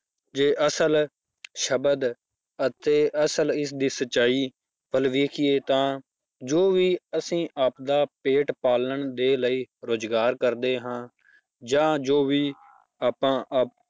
ਜੇ ਅਸਲ ਸ਼ਬਦ ਅਤੇ ਅਸਲ ਇਸ ਦੀ ਸਚਾਈ ਵੱਲ ਵੇਖੀਏ ਤਾਂ ਜੋ ਵੀ ਅਸੀਂ ਆਪਦਾ ਪੇਟ ਪਾਲਣ ਦੇ ਲਈ ਰੁਜ਼ਗਾਰ ਕਰਦੇ ਹਾਂ ਜਾਂ ਜੋ ਵੀ ਆਪਾਂ ਆ~